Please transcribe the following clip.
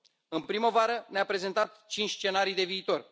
În primăvară, ne a prezentat cinci scenarii de viitor.